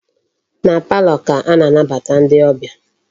Na palọ ka a na-anabata ndi obia.